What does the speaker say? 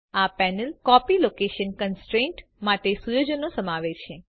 આ panel copy location constraint માટે સુયોજનો સમાવે છે